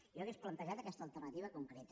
jo hauria plantejat aquesta alternativa concreta